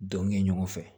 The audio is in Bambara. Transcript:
Donkɛ ɲɔgɔn fɛ